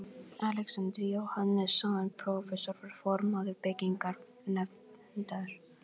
Alexander Jóhannesson, prófessor, var formaður byggingarnefndar